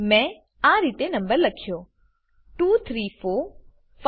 મેં આ રીતે નંબર લખ્યો 2345678